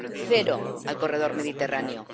Cero, al corredor mediterráneo.